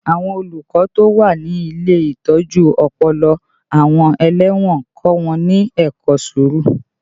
Àwọn olùkọ́ tó wà ní ilé ìtọ́jú ọpọlọ àwọn ẹlẹ́wọ̀n ń kọ́ wọn ní ẹ̀kọ́ sùúrù